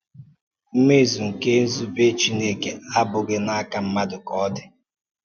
Mmezu nke nzúbè Chineke abụghị n’aka mmadụ ka ọ dị.